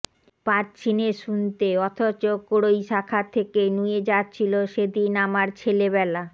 পাচ্ছিনে শুনতে অথচ কড়ই শাখা থেকে নুয়ে যাচ্ছিলো সেদিন আমার ছেলেবেলা